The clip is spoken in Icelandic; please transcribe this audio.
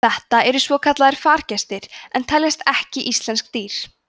þetta eru svokallaðir fargestir en teljast ekki íslensk dýr